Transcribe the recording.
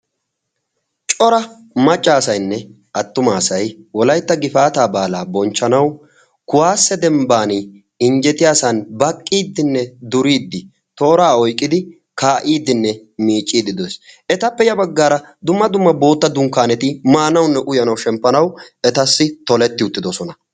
Cora maccaasaynne attumaasay wolaytta gifaataa baalaa bonchchanau kuwaasse dembban injjetiyaasan baqqiiddinne duriiddi tooraa oiqqidi kaa"iiddinne miicciiddi de'ees. etappe ya baggaara dumma dumma bootta dunkkaaneti maanaunne uyanau shemppanau etassi toletti uttidosona.